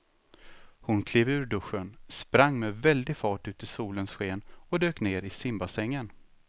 Hon klev ur duschen, sprang med väldig fart ut i solens sken och dök ner i simbassängen.